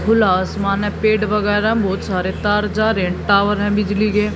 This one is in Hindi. खुला आसमान है पेड वगैरह बहुत सारे तार जा रहे हैं टावर है बिजली के।